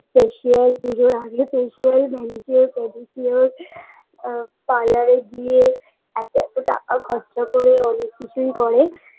facial পুজোর আগে facial manicure pedicure অ parlour -এ গিয়ে এত এত টাকা খরচা করে অনেক কিছুই করে